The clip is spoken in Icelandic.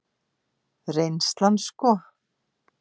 Reynslan sko.